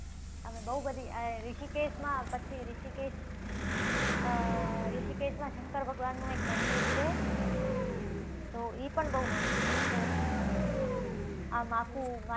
અને બવ બધી આહી રીષિકેશમાં, પછી રીષિકેશ અમ રીષિકેશમાં શંકર ભગવાનનુંં એક મંદિર છે. તો ઈ પણ બવ મસ્ત છે. આમ આખુ